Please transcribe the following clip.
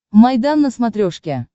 майдан на смотрешке